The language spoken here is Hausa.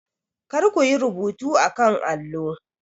Kar ku yi rubuta a kan allo.